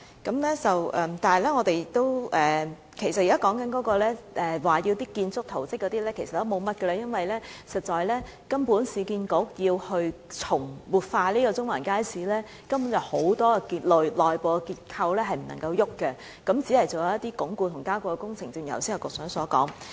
但是，其實議員所說的建築圖則數目也很少，因為市建局如要活化中環街市，根本有很多內部結構不能變動，只可進行一些鞏固和加固的工程，正如局長剛才所說。